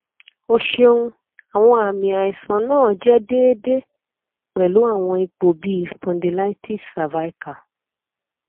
o ṣeun awọn aami aisan naa jẹ deede pẹlu awọn ipo bii spondylitis cervical